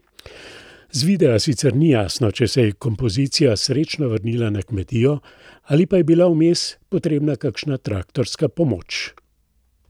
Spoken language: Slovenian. Z videa sicer ni jasno, če se je kompozicija srečno vrnila na kmetijo, ali pa je bila vmes potrebna kakšna traktorska pomoč.